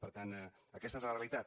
per tant aquesta és la realitat